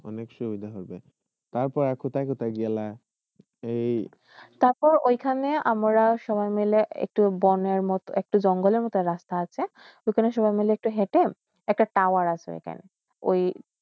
অনেক সুবিধা হবে তার পরে আর কোথায় কোথায় গেলয়া তার পর য়ইখাননে আমার সবাই মিলে একটু বোনের একটু জঙ্গলর মোট রাস্তা আসে ঐখানে সাবয়ই মিলে একটু হেইতে একটা টাওয়ার আসে সেইখান ঐ